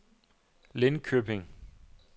Lindköping